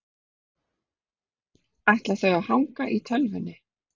Ætla þau að hanga í tölvunni?